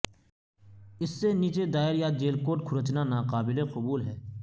اس سے نیچے دائر یا جیل کوٹ کھرچنا ناقابل قبول ہے